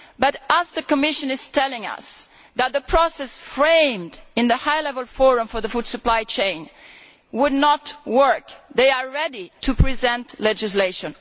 However, just as the Commission is telling us that the process framed in the High Level Forum for a Better Functioning Food Supply Chain would not work, they are ready to present legislation.